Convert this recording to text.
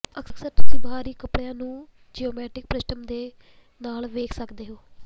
ਅਕਸਰ ਤੁਸੀਂ ਬਾਹਰੀ ਕਪੜਿਆਂ ਨੂੰ ਜਿਓਮੈਟਰਿਕ ਪ੍ਰਿੰਟਸ ਦੇ ਨਾਲ ਵੇਖ ਸਕਦੇ ਹੋ